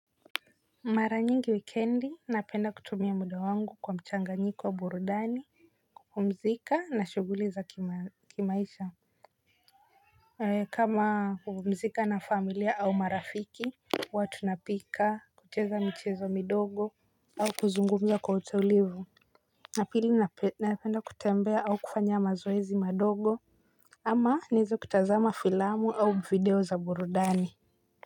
Mara nyingi weekendi napenda kutumia muda wangu kwa mchanga nyiko wa burudani pumzika na shuguli za kimaisha. Kama pumzika na familia au marafiki. Watu napika kucheza michezo midogo au kuzungumza kwa utulivu. Napili napenda kutembea au kufanya mazoezi madogo. Ama nizo kutazama filamu au video za burudani.